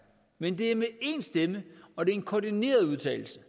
men det er med én stemme og det er en koordineret udtalelse